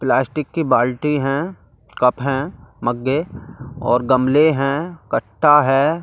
Plastic की बाल्टी हैं कप हैं मग्गे और गमले हैं कट्टा है।